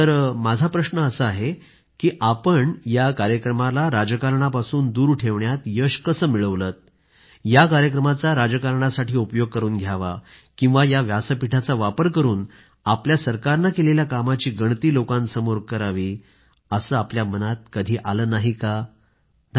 तर माझा प्रश्न असा आहे की आपण या कार्यक्रमाला राजकारणापासून दूर ठेवण्यात यश कसं मिळवलं या कार्यक्रमाचा राजकारणासाठी उपयोग करून घ्यावा किंवा या व्यासपीठाचा वापर करून आपल्या सरकारनं केलेल्या कामाची गणती लोकांसमोर करावीअसे आपल्या मनात कधी आलं नाही का धन्यवाद